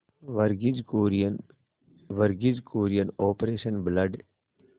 Verghese Kurien Verghese Kurien operation blood